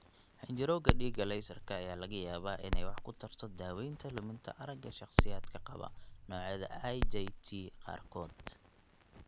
xinjirowga dhiigga leysarka ayaa laga yaabaa inay wax ku tarto daawaynta luminta aragga shakhsiyaadka qaba noocyada IJT qaarkood.